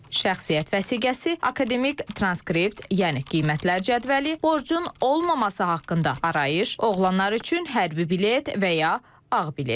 Şəxsiyyət vəsiqəsi, akademik transkript, yəni qiymətlər cədvəli, borcun olmaması haqqında arayış, oğlanlar üçün hərbi bilet və ya ağ bilet.